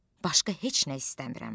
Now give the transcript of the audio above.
Başqa heç nə istəmirəm.